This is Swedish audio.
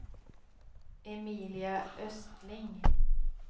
Emilia Östling